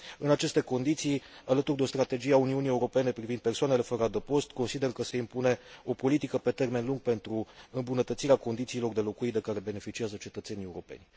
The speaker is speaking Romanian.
În aceste condiții, alături de o strategie a Uniunii Europene privind persoanele fără adăpost, consider că se impune o politică pe termen lung pentru îmbunătățirea condițiilor de locuit de care beneficiază cetățenii europeni.